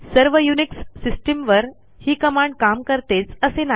सर्व युनिक्स सिस्टिमवर ही कमांड काम करतेच असे नाही